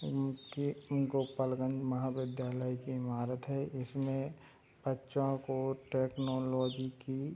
इनके गोपालगंज महाविद्यालय की ईमारत है इसमें बच्चों को टेक्नोलॉजी की --